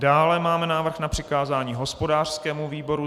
Dále máme návrh na přikázání hospodářskému výboru.